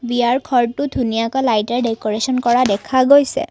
বিয়াৰ ঘৰটো ধুনীয়াকৈ লাইটেৰে ডেকৰেছন কৰা দেখা গৈছে।